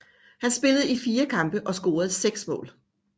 Han spillede i fire kampe og scorede seks mål